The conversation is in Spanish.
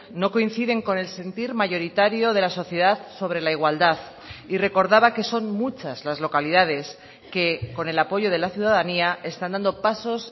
no coinciden con el sentir mayoritario de la sociedad sobre la igualdad y recordaba que son muchas las localidades que con el apoyo de la ciudadanía están dando pasos